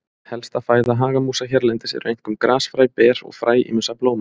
Helsta fæða hagamúsa hérlendis eru einkum grasfræ, ber og fræ ýmissa blóma.